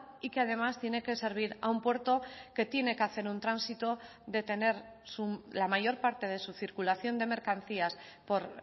y que además tiene que servir a un puerto que tiene que hacer un tránsito de tener la mayor parte de su circulación de mercancías por